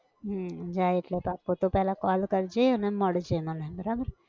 હમ જાય એટલે પાક્કું તું પહેલાં call કરજે અને મળજે મને બરાબર?